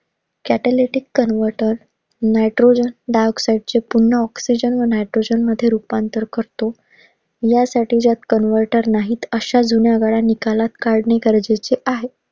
Patholitic convertor Nitrogen dioxide चे पून्हा oxygen व Nitrogen मध्ये रूपांतर करतो. ह्यासाठी ज्यात convertor नाहीत अश्या जुन्या निकालात काढणे गरजेचे आहे.